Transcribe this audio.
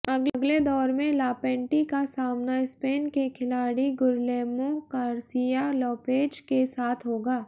अगले दौर में लापेंटी का सामना स्पेन के खिलाड़ी गुर्लेमो गार्सिया लोपेज के साथ होगा